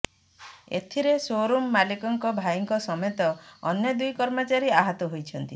ଏଥିରେ showroom ମାଲିକଙ୍କ ଭାଇଙ୍କ ସମେତ ଅନ୍ୟ ଦୁଇ କର୍ମଚାରୀ ଆହତ ହୋଇଛନ୍ତି